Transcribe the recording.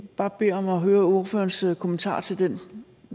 bare bede om at høre ordførerens kommentar til